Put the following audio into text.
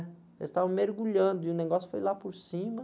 Eles estavam mergulhando e o negócio foi lá por cima.